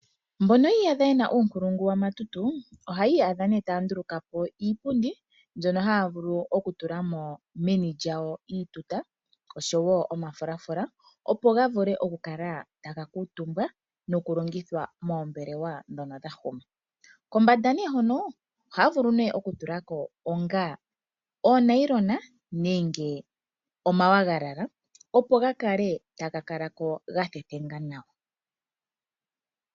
Mbono yi iyadha ye na uunkulungu wa matutu ohayi iyadha nduno taya nduluka po iipundi mbyono haya vulu okutula mo meni lyawo iituta oshowo omafulafula, opo ga vule okukala taga kuutumbwa nokulongithwa moombelwa ndhono dha huma. Kombanda hoka ohaya vulu okutula ko oonayilona opo dhi kale ko dha thethenga nawa.